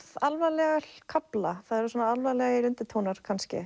alvarlega kafla það eru alvarlegir undirtónar kannski